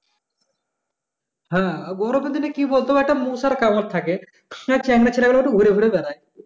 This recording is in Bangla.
হ্যাঁ গরমের দিন কি বলতো একটা মশার কামর থাকে সে চ্যাংড়া ছেলে পেলেরা ঘুরে ঘুরে বেড়ায়